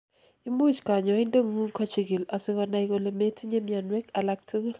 imuch kanyoindetngung kochikil asikonai kole metinyei mianwek alaktugul